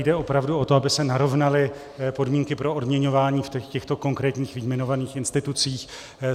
Jde opravdu o to, aby se narovnaly podmínky pro odměňování v těchto konkrétních vyjmenovaných institucích.